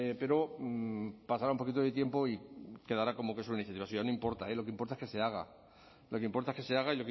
pero pasará un poquito de tiempo y quedará como que es una iniciativa no importa eh lo que importa es que se haga lo que importa es que se haga